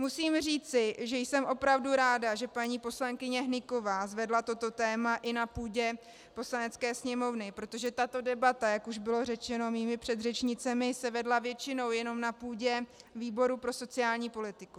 Musím říci, že jsem opravdu ráda, že paní poslankyně Hnyková zvedla toto téma i na půdě Poslanecké sněmovny, protože tato debata, jak už bylo řečeno mými předřečnicemi, se vedla většinou jenom na půdě výboru pro sociální politiku.